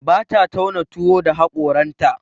Bata tauna tuwo da haƙoranta.